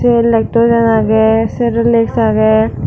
yot lectojen age serolec agey.